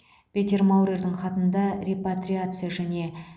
петер маурердің хатында репатриация және